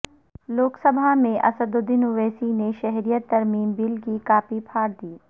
لوک سبھا میں اسد الدین اویسی نے شہریت ترمیم بل کی کاپی پھاڑ دی